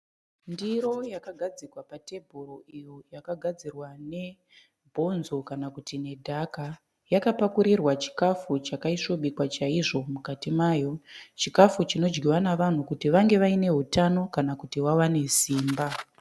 Ndiro yakagadzikwa patebhuru iyo yakagadzirwa nebhonzo kana kuti nedhaka yakapakurirwa chikafu chakaisvobikwa chaizvo mukati mayo chikafu chinodyiwa navanhu kuti vange vaine hutano kana kuti vawane simba.